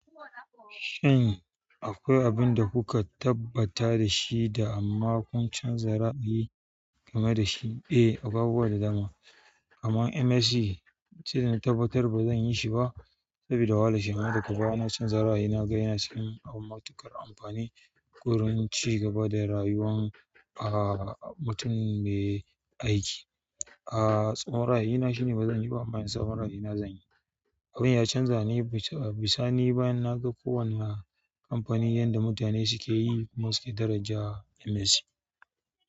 Shin akwai abin da kuka tabbata da shi da amma kun canza ra'ayi game da shi? Eh, akwai abubuwa da dama. Kaman MSc ce da na tabbatar ba zan yi shi ba saboda wahala shi. Amma daga baya na canza ra'ayi, na ga yana cikin abu matuƙar amfani wurin cigaba da rayuwan, ah, mutum mai aiki. Ah, tsawon ra ayina shine ba zan yi ba, amma yanzu tsawon ra ayina zan yi. Abin ya canza ne bisa ni bayan na ga kowane kamfani yanda mutane suke yi musu daraja MSc.